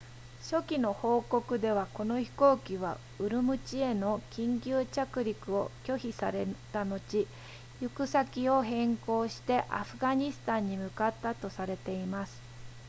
初期の報告ではこの飛行機はウルムチへの緊急着陸を拒否された後行く先を変更してアフガニスタンに向かったとされています